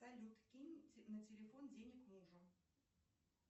салют кинь на телефон денег мужу